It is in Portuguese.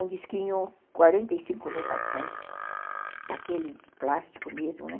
Um disquinho, quarenta e cinco rotações, daquele de plástico mesmo, né?